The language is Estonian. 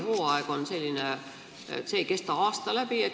Me teame, et jahihooaeg ei kesta aasta läbi.